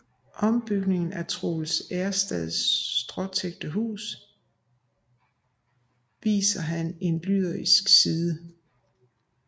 I ombygningen af Troels Erstads stråtækte hus viser han en lyrisk side